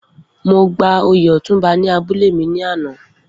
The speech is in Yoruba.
Mo gba oyè ọ̀túnba ní abúlé mi ní àná